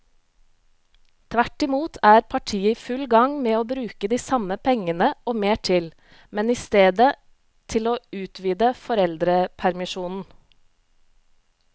Tvert imot er partiet i full gang med å bruke de samme pengene og mer til, men i stedet til å utvide foreldrepermisjonen.